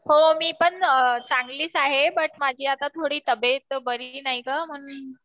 हो मी पण चांगलीच आहे बट माझी आता थोडी तबयेत बरी नाहीय ना म्हणून